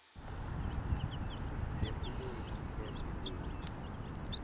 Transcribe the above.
nefulegi lezwe lethu